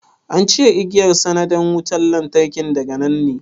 An cire igiyar sandan wutan lantarkin daga nan ne?